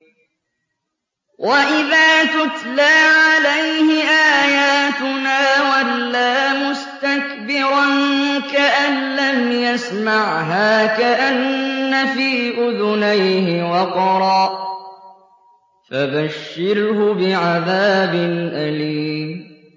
وَإِذَا تُتْلَىٰ عَلَيْهِ آيَاتُنَا وَلَّىٰ مُسْتَكْبِرًا كَأَن لَّمْ يَسْمَعْهَا كَأَنَّ فِي أُذُنَيْهِ وَقْرًا ۖ فَبَشِّرْهُ بِعَذَابٍ أَلِيمٍ